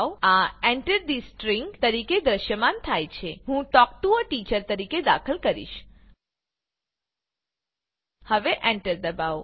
આ Enter the string તરીકે દૃશ્યમાન થાય છે હું તલ્ક ટીઓ એ ટીચર તરીકે દાખલ કરીશ હવે એન્ટર દબાવો